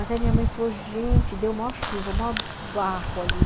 Até minha mãe falou, gente, deu maior chuva, maior barro ali.